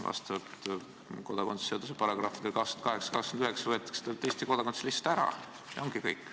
Vastavalt kodakondsuse seaduse §-dele 28 ja 29 võetakse temalt Eesti kodakondsus lihtsalt ära ja ongi kõik.